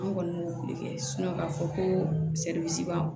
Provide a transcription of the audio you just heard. An kɔni b'o boli kɛ k'a fɔ ko b'an